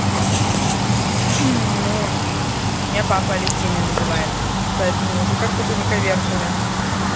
ну меня папа алевтиной называет поэтому уже как только не коверкали